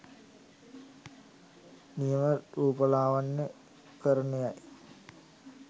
නියම රූපලාවන්‍ය කරණය යි